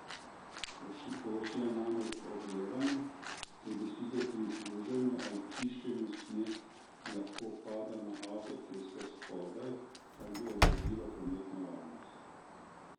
Površina je namreč ogrevana, ker bi sicer pri pluženju ali čiščenju sneg lahko padal na avtocesto spodaj kar bi ogrozilo prometno varnost.